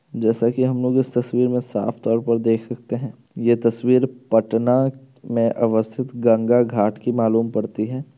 जैसा की हमलोग इस तस्वीर मे साफतौर पर देख सकते है ये तस्वीर पटना मे अवस्थित गंगा घाट की मालूम पड़ती है।